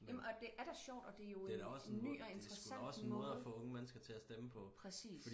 jamen og det er da sjovt og det er jo en en ny og interessant måde præcis